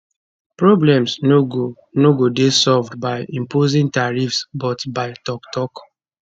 problems no no go dey solved by imposing tariffs but by toktok